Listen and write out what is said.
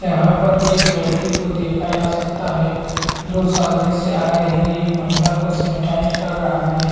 यहाँ पर एक व्यक्ति को देखा जा सकता है जो सामने से आ रही एक महिला को सेनेटाइज कर रहा है।